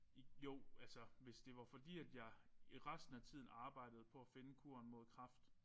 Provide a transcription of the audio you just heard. I jo altså hvis det var fordi at jeg jeg resten af tiden arbejde på at finde kuren mod kræft